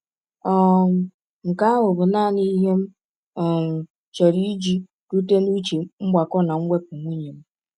um Nke ahụ bụ naanị ihe m um chọrọ iji rute n’uche mgbakọ na mwepụ nwunye m.